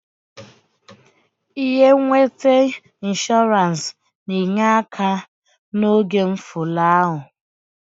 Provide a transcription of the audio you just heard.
Ihe nweta inshọrans na-enye aka n'oge mfụlahụ.